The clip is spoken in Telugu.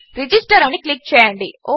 రిజిస్టర్ అని క్లిక్ చేయండి